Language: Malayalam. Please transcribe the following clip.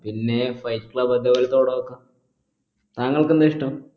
പിന്നെ അതേപോലത്തെ പഠ ഒക്ക താങ്കൾക്കെന്താ ഇഷ്ട്ടം